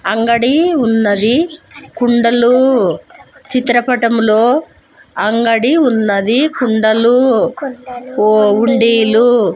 అంగడీ ఉన్నది. కుండలూ చిత్రపటములో అంగడి ఉన్నది. కుండలూ వు వుండీలూ --